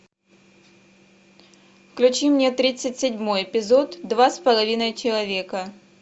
включи мне тридцать седьмой эпизод два с половиной человека